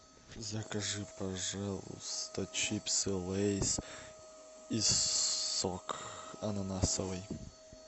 закажи пожалуйста чипсы лейс и сок ананасовый